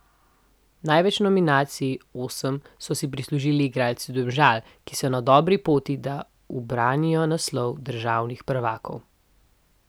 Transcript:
Največ nominacij, osem, so si prislužili igralci Domžal, ki so na dobri poti, da ubranijo naslov državnih prvakov.